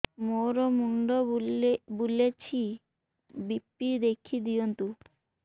ମୋର ମୁଣ୍ଡ ବୁଲେଛି ବି.ପି ଦେଖି ଦିଅନ୍ତୁ